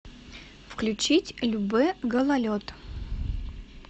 включить любэ гололед